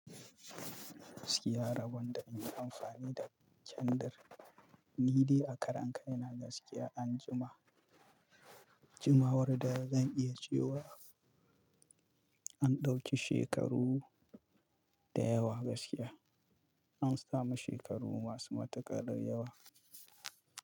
Gaskiya rabon da in yi amfani da kyandir ni dai a karon kai na gaskiya an jima. Jimawar da zan iya cewa an ɗauki shekaru da yawa gaskiya. An sami shekaru masu matuƙar yawa.